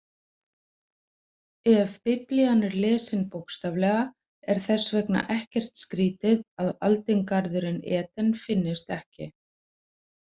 Ef Biblían er lesin bókstaflega er þess vegna ekkert skrýtið að aldingarðurinn Eden finnist ekki.